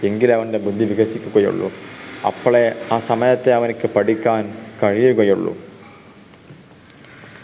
എങ്കിലെ അവൻ്റെ ബുദ്ധി വികസിക്കുകയുള്ളൂ അപ്പളേ ആ സമയത്തെ അവൻക്ക് പഠിക്കാൻ കഴിക്കയുള്ളൂ